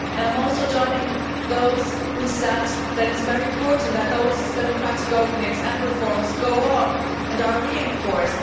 I also join those who said that it is very important that those democratic openings and reforms go on and are reinforced.